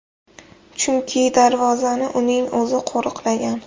Chunki darvozani uning o‘zi qo‘riqlagan.